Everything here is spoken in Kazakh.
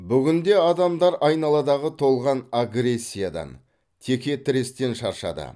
бүгінде адамдар айналадағы толған агрессиядан теке тірестен шаршады